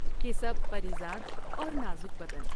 کی سب پری زاد اور نازک بدن ۔